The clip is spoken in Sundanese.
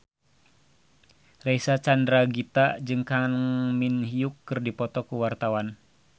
Reysa Chandragitta jeung Kang Min Hyuk keur dipoto ku wartawan